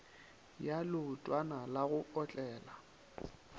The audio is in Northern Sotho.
ya leotwana la go otlela